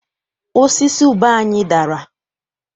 Osisi ube anyị dara.